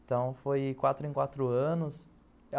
Então, foi quatro em quatro anos.